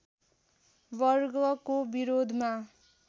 वर्गको विरोधमा